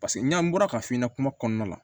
Paseke n'i an bɔra ka f'i ka kuma kɔnɔna la